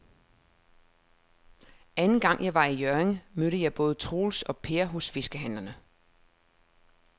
Anden gang jeg var i Hjørring, mødte jeg både Troels og Per hos fiskehandlerne.